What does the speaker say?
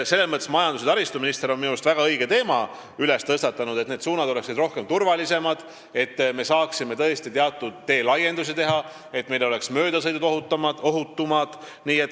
Majandus- ja taristuminister on minu meelest väga õige teema tõstatanud: on vaja, et need ühendused oleks turvalisemad, et saaks teatud teelaiendusi teha ja möödasõidud oleksid ohutumad.